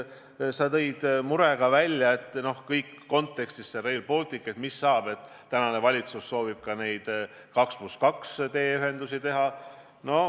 Sa tõid murega välja, mis saab Rail Balticu kontekstis, kui tänane valitsus soovib ka 2 + 2 teeühendusi teha.